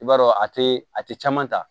I b'a dɔn a te a te caman ta